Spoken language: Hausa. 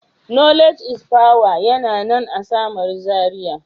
Knowledge is power yana nan a samaru zaria.